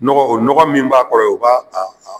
Nɔgɔ o nɔgɔ min b'a kɔrɔ yen o b'a